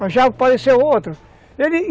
mas já apareceu outro